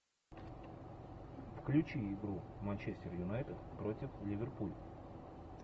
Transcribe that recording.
включи игру манчестер юнайтед против ливерпуль